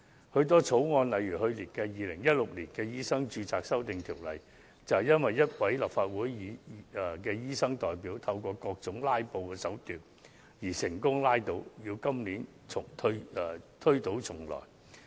許多法案，例如去年的《2016年醫生註冊條例草案》，便因一位立法會的醫生代表藉各種"拉布"手段而成功被拉倒，須於今年推倒重來。